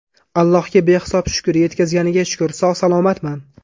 Allohga behisob shukr, yetkazganiga shukr, sog‘-salomatman.